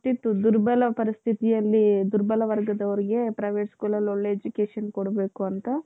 ಅದು ಗೊತ್ತಿತ್ತು ದುರ್ಬಲ ಪರಿಸ್ಥಿತಿಯಲ್ಲಿ ದುರ್ಬಲ ವರ್ಗದರಿಗೂ private schoolಅಲ್ಲಿ education ಕೊಡ್ಬೇಕು ಅಂತ.